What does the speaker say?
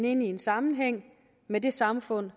ind i sammenhæng med det samfund